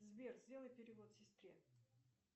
сбер сделай перевод сестре